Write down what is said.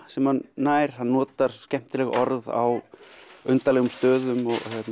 sem hann nær hann notar skemmtileg orð á undarlegum stöðum